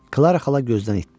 Klara xala gözdən itdi.